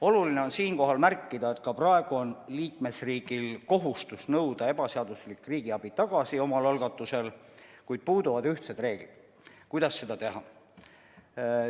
Oluline on siinkohal märkida, et ka praegu on liikmesriigil kohustus nõuda ebaseaduslik riigiabi tagasi omal algatusel, kuid puuduvad ühtsed reeglid, kuidas seda teha.